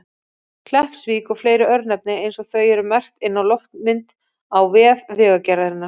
Kleppsvík og fleiri örnefni eins og þau eru merkt inn á loftmynd á vef Vegagerðarinnar.